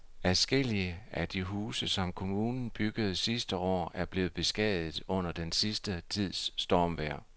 Adskillige af de huse, som kommunen byggede sidste år, er blevet beskadiget under den sidste tids stormvejr.